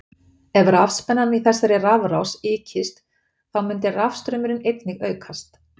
Ef rafspennan í þessari rafrás ykist þá myndi rafstraumurinn einnig aukast.